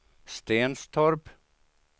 Stenstorp